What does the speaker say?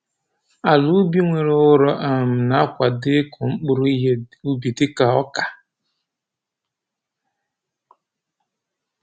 Ala ubi nwere ụrọ um na-akwado ịkụ mkpụrụ ihe ubi dịka ọka